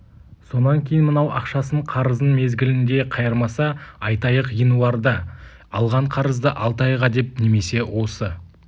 сонан кейін мынау ақшасын қарызын мезгілінде қайырмаса айтайық ғинуарда алған қарызды алты айға деп немесе осы